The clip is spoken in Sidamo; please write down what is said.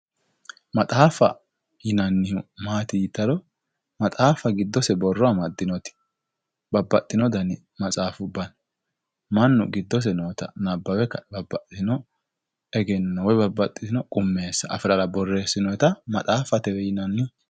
Maxaffa yinanihu matti yitaro maxaffa gidose boro amadinote babaxino dani matsafuba no manu gidose nota nabawe kae babaxitino egeno woy babaxitino qumesa afirara boresinonita maxafatewe yinanni